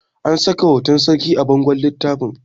an saka hoton sarki a bangon littafin